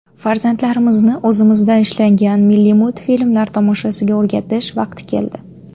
Farzandlarimizni o‘zimizda ishlangan milliy multfilmlar tomoshasiga o‘rgatish vaqti keldi.